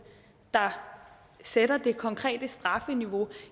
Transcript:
der sætter det konkrete strafniveau